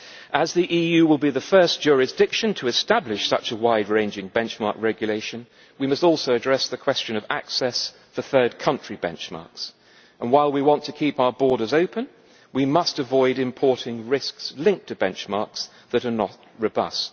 As the EU will be the first jurisdiction to establish such a wide ranging benchmark regulation, we must also address the question of access for third country benchmarks, and while we want to keep our borders open, we must avoid importing risks linked to benchmarks that are not robust.